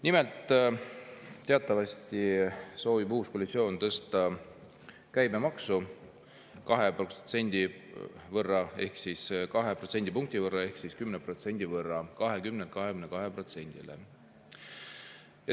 Nimelt, teatavasti soovib uus koalitsioon tõsta käibemaksu 2 protsendipunkti võrra ehk 10% võrra: 20‑lt 22‑le.